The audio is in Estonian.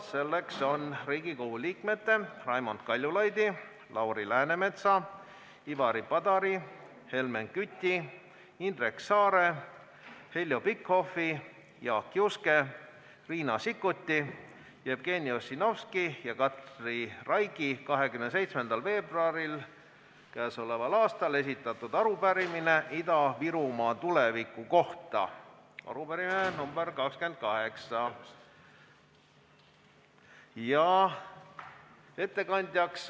See on Riigikogu liikmete Raimond Kaljulaiu, Lauri Läänemetsa, Ivari Padari, Helmen Küti, Indrek Saare, Heljo Pikhofi, Jaak Juske, Riina Sikkuti, Jevgeni Ossinovski ja Katri Raigi k.a 27. veebruaril esitatud arupärimine Ida-Virumaa tuleviku kohta – arupärimine nr 28.